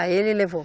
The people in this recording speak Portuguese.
Aí ele levou.